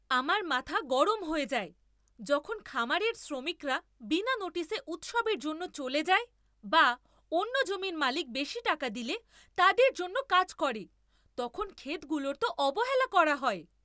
আমার মাথা গরম হয়ে যায়, যখন খামারের শ্রমিকরা বিনা নোটিশে উৎসবের জন্য চলে যায় বা অন্য জমির মালিক বেশি টাকা দিলে তাদের জন্য কাজ করে, তখন ক্ষেতগুলোর তো অবহেলা করা হয়।